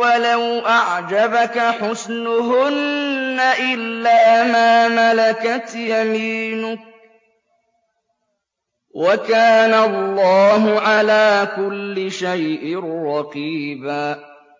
وَلَوْ أَعْجَبَكَ حُسْنُهُنَّ إِلَّا مَا مَلَكَتْ يَمِينُكَ ۗ وَكَانَ اللَّهُ عَلَىٰ كُلِّ شَيْءٍ رَّقِيبًا